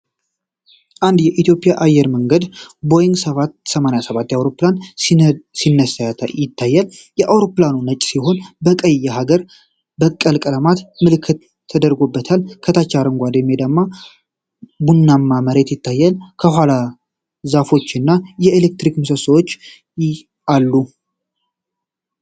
አንድ የኢትዮጵያ አየር መንገድ ቦይግ 787 አይሮፕላን ሲነሳ ይታያል። አይሮፕላኑ ነጭ ሲሆን በቀይና በሀገር በቀል ቀለማት ምልክት ተደርጎበታል። ከታች አረንጓዴ ሜዳና ቡናማ መሬት ሲታይ፣ ከኋላ ዛፎችና የኤሌክትሪክ ምሰሶዎች አሉ።